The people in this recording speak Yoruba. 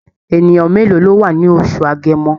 Ènìyàn mélòó ló wá ní oṣù Agẹmọ?